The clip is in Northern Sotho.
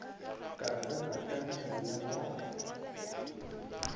ka tsena ka mmila wa